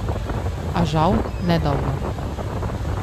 A, žal, ne dolgo.